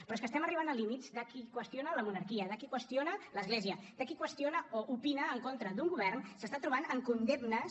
però és que estem arribant a límits que qui qüestiona la monarquia que qui qüestiona l’església que qui qüestiona o opina en contra d’un govern s’està trobant amb condemnes